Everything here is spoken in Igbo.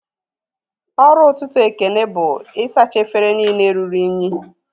Ọrụ ọtụtụ Ekene bụ isacha efere niile rụrụ unyi